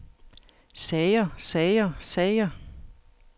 sager sager sager